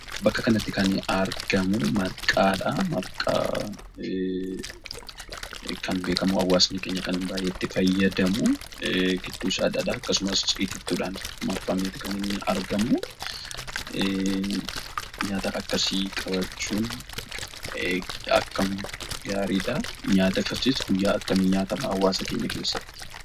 Bakka kanatti kan argamu, marqaadhaa. Marqaan kan beekamu hawaasti keenya baay'ee kan itti fayyadamu giddusaa dhadhaa akkasumas itiittudhaan marfameetii kan inni argamu. Nyaata akkasii qabachuun akkam gaariidha ! Nyaata akkasii guyya kam nyaatamaa hawaasa keenya kessati?